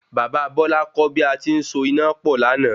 Bàbá Bọ́lá kọ́ bí ati ń so iná pọ̀ lana